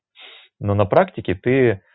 но на практике ты